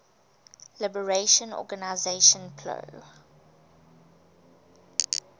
liberation organization plo